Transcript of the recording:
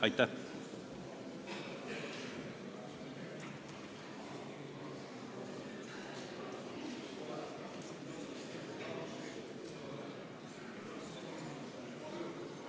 Aitäh!